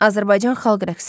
Azərbaycan xalq rəqsi.